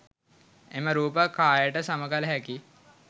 එම රූප කායට සම කල හැකි